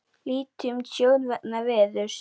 Lítið um tjón vegna veðurs